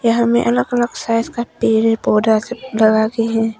यहां में अलग अलग साइज का पेड़ है पौधा सब लगा के है।